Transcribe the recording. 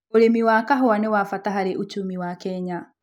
ũrĩmi wa kahũa nĩ wabata hari uchumi wa Kenya.